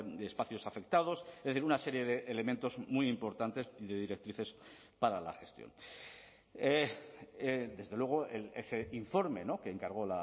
de espacios afectados es decir una serie de elementos muy importantes y de directrices para la gestión desde luego ese informe que encargó